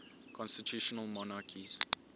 constitutional monarchies